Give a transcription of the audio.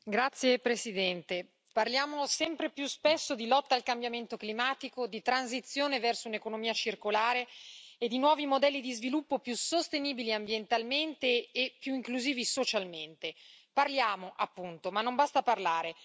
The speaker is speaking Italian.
Signor Presidente, onorevoli colleghi, parliamo sempre più spesso di lotta al cambiamento climatico, di transizione verso un'economia circolare e di nuovi modelli di sviluppo più sostenibili ambientalmente e più inclusivi socialmente. Parliamo, appunto, ma non basta parlare.